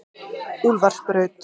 Úlfarsbraut